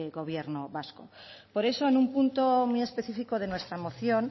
gobierno vasco por eso en un punto muy específico de nuestra moción